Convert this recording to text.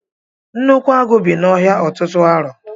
Nnukwu agụ bị na ọhịa ọtụtụ arọ.